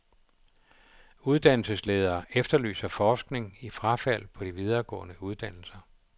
Uddannelsesledere efterlyser forskning i frafald på de videregående uddannelser.